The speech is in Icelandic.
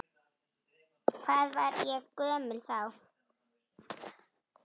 Hvað var ég gömul þá?